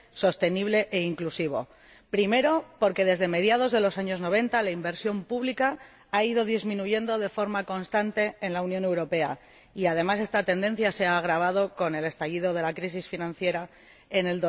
sostenible e inclusivo En primer lugar, porque desde mediados de los años noventa, la inversión pública ha ido disminuyendo de forma constante en la Unión Europea y, además, esta tendencia se ha agravado con el estallido de la crisis financiera en